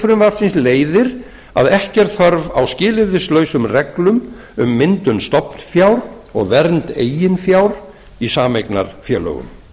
frumvarpsins leiðir að ekki er þörf á skilyrðislausum reglum um myndun stofnfjár og vernd eigin fjár í sameignarfélögum